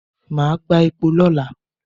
Màá gbá epo lọ́la.